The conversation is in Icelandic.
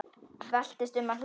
Veltist um af hlátri.